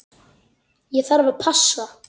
Ég þarf að passa.